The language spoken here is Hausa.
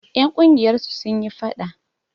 Ƴan ƙungiyar su sun yi faɗa.